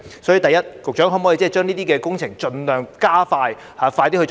所以，首先，局長可否把這些工程盡量加快呢？